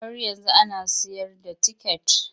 Har yanzu an ana sayar da ticket?